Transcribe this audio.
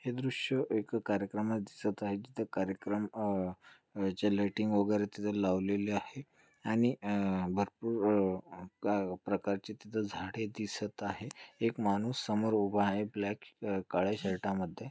हे दृश्य एक कार्यक्रमाच दिसत आहे तिथ कार्यक्रम अह अह जे लायटिंग वगैरे तिथ लावलेले आहे आणि अह भरपुर अह का प्रकारचे तिथ झाडे दिसत आहे एक माणूस समोर उभ आहे ब्लॅक अह काळ्या शर्टा मध्ये.